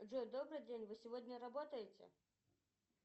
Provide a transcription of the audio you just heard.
джой добрый день вы сегодня работаете